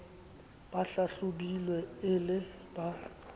ba hlahlobilweng e le ba